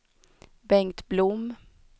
Bengt Blom